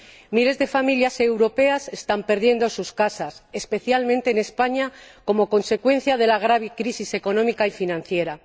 Miles de familias europeas están perdiendo sus casas, especialmente en España, como consecuencia de la grave crisis económica y financiera.